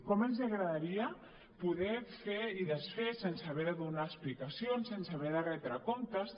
com els agradaria poder fer i desfer sense haver de donar explicacions sense haver de retre comptes